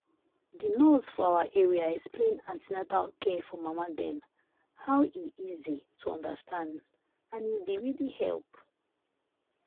the nurse for our area explain an ten atal care for mama dem how e easy to understand and e been really help.